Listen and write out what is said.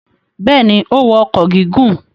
Bẹ́ẹ̀ ni, ó wọ ọkọ̀ gígùn.